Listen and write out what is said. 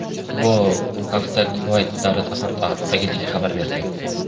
Bu haqda Kuvayt davlat axborot agentligi xabar bergan.